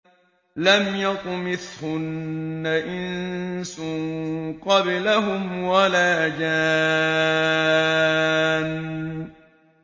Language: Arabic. لَمْ يَطْمِثْهُنَّ إِنسٌ قَبْلَهُمْ وَلَا جَانٌّ